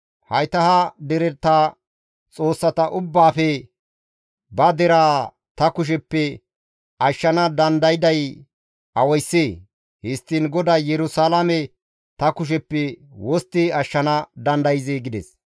Hayta ha dereta xoossata ubbaafe ba deraa ta kusheppe ashshana dandayday awayssee? Histtiin GODAY Yerusalaame ta kusheppe wostti ashshana dandayzee?» gides.